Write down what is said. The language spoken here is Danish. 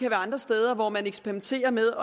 andre steder hvor man eksperimenterer med